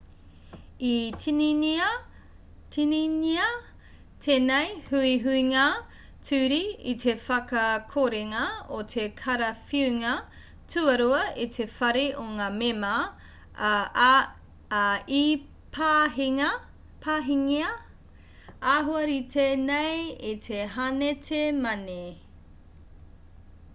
i tīningia tēnei huihuinga ture i te whakakorenga o te karawhiunga tuarua e te whare o ngā mema ā i pāhingia āhua rite nei e te henate mane